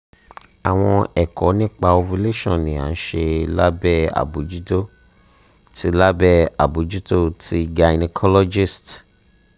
awọn ẹkọ nipa ovulation ni a nṣe labẹ abojuto ti labẹ abojuto ti gynecologist